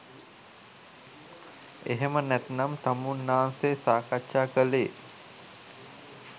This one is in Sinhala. එහෙම නැතිනම් තමුන්නාන්සේ සාකච්ඡා කළේ